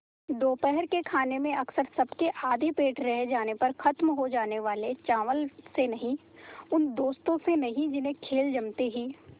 दोपहर के खाने में अक्सर सबके आधे पेट रह जाने पर ख़त्म हो जाने वाले चावल से नहीं उन दोस्तों से नहीं जिन्हें खेल जमते ही